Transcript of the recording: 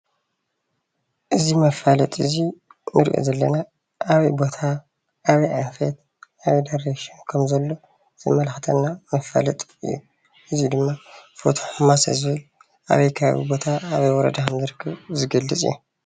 እዚ መፋለጢ እዙይ እንሪኦ ዘለና ኣበይ ቦታ፣ አበይ ኣንፈት ፣ ኣበይ ዳሬክሽን፣ ኸም ዘሎ ዘመላኽተና መፋለጢ እዩ። እዙይ ድማ ፎቶ ሕማሶ ዝብል ኣበይ ኸባቢ ቦታ ኣበይ ወረዳ ከም ዝርከብ ዝገልፅ እዩ።